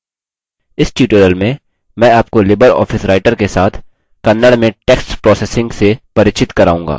इस tutorial में मैं आपको लिबर ऑफिस writer के साथ kannada में text processing प्रसंस्करण से परिचित कराऊँगा